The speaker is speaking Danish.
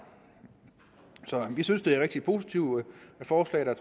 så vi synes det er et rigtig positivt forslag der